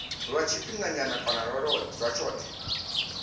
lwa tshifhinganyana kana lwa tshothe